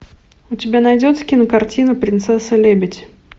у тебя найдется кинокартина принцесса лебедь